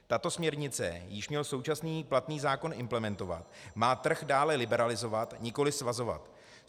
Tato směrnice, již měl současný platný zákon implementovat, má trh dále liberalizovat, nikoliv svazovat.